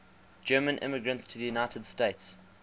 german immigrants to the united states